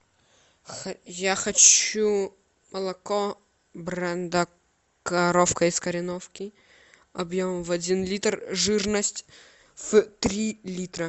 я хочу молоко бренда коровка из кореновки объемом в один литр жирность в три литра